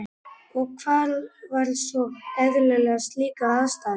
Og hvað var svo sem eðlilegra við slíkar aðstæður?